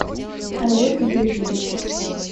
олег юрьевич